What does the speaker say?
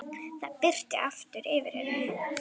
Það birti aftur yfir henni.